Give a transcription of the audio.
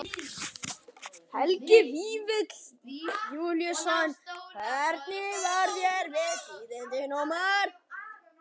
Helgi Vífill Júlíusson: Hvernig varð þér við tíðindin, Ómar?